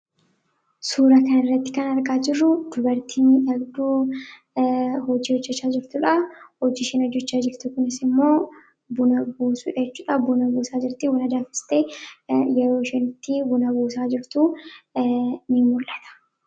Suuraa kanaa gadii irratti kan argamu dubartii teessee hojii hojjechaa jirtuu dha. Hojii isheen hojechaa jirtu Kunis buna buusuu dha.